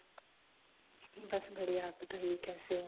ਬਸ ਬਢਿਯਾ ਆਪ ਬਤਾਈਏ ਕਿਸੇ ਹੋ